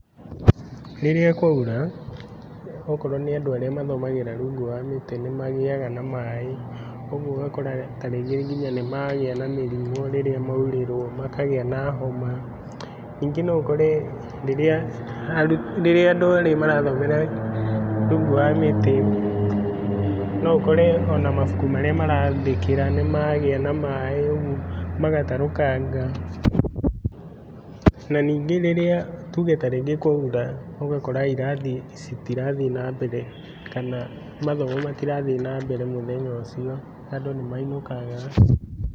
Rĩrĩa kwaura, okorwo nĩ andũ arĩa mathomagĩra rungu wa mĩtĩ nĩ magĩaga na maĩ, ũguo ũgakora ta rĩngĩ nginya nĩ magĩa na mĩrimũ rĩrĩa maurĩrwo makagĩa na homa. Ningĩ no ũkore rĩrĩa andũ erĩ marathomera rungu wa mĩtĩ, no ũkore o na mabuku marĩa marandĩkĩra nĩ magĩa na maĩ rĩu magatarũkanga, na nĩngĩ rĩrĩa, tuge ta rĩngĩ kwaura, ũgakora irathi citirathiĩ na mbere kana mathomo matirathiĩ na mbere mũthenya ũcio, andũ nĩ mainũkaga.